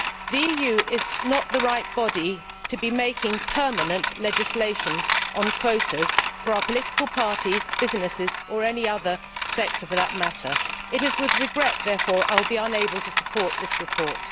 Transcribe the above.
The EU is not the right body to be making permanent legislation on quotas for our political parties, businesses or any other sector for that matter. It is with regret, therefore, that I will be unable to support this report.